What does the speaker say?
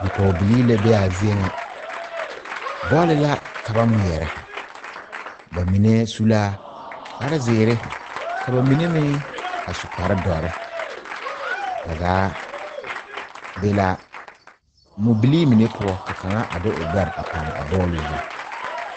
Pɔgebileee la be a zie ŋa bɔli ,la ka ba ŋmeɛrɛ ba mine su la kpare zēēre ka ba mine meŋ su kpare dɔre ,ba zaa be la mubilee mine poɔ ka kaŋa de o gbɛre pare a bɔli zu.